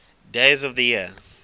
days of the year